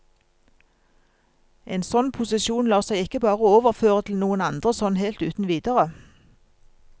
En sånn posisjon lar seg ikke bare overføre til noen andre sånn helt uten videre.